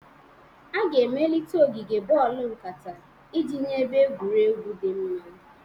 A ga-emelite ogige boolu nkata iji nye ebe egwuregwu dị mma.